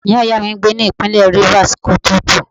Ìyá ìyá mi n gbè ni ipinle rivers, ki o to ku.